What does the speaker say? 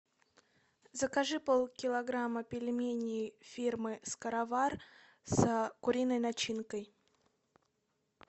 закажи полкилограмма пельменей фирмы скоровар с куриной начинкой